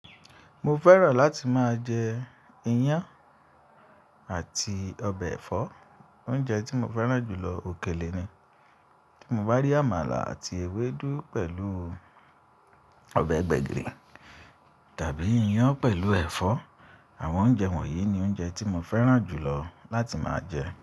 Mo fẹ́ràn láti máa jẹ iyan ati ọbẹ̀ ẹ̀fọ́. Oúnjẹ tí mo fẹ́ràn jù lọ òkèlè ni. Tí mo bá rí amala àti ewédú pẹ̀lú ọbẹ̀ gbẹ̀gìrì tàbí iyan pẹ̀lú ẹ̀fọ́, àwọn oúnjẹ wọ̀nyí ni oúnjẹ tí mo fẹ́ràn jù lọ láti máa jẹ.